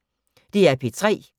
DR P3